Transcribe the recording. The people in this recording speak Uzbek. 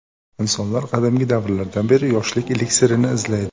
Insonlar qadimgi davrlardan beri yoshlik eliksirini izlaydi.